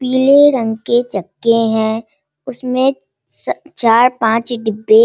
पीले रंग के चक्के है उसमे स चार पाँच डिब्बे --